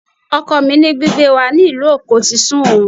Ọkọ mi ní gbígbé wa ní ìlú Èkó ti sú òun